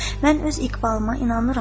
“Mən öz iqbalıma inanıram.”